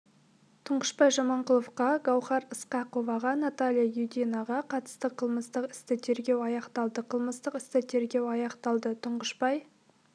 тұңғышбай жаманқұловқа гаухар ысқақоваға наталья юдинаға қатысты қылымыстық істі тергеу аяқталды қылмыстық істі тергеу аяқталды тұңғышбай